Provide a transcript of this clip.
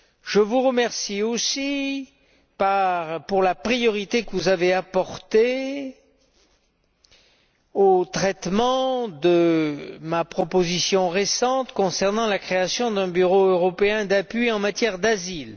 Je vous remercie aussi pour la priorité que vous avez donnée au traitement de ma proposition récente concernant la création d'un Bureau européen d'appui en matière d'asile.